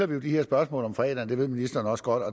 vi jo de her spørgsmål om fredagen og det ved ministeren også godt